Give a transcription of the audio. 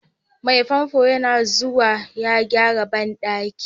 Mai famfo yana zuwa ya gyara bandaki.